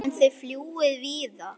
En þið fljúgið víðar?